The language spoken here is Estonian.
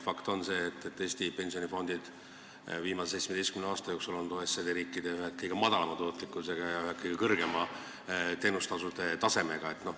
Fakt on see, et Eesti pensionifondid on viimase 17 aasta jooksul olnud OECD riikides ühed kõige väiksema tootlikkusega ja ühed kõige kõrgemate teenustasudega.